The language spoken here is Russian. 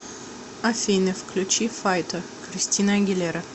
афина включи файтер кристина агилера